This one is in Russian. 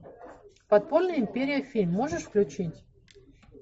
подпольная империя фильм можешь включить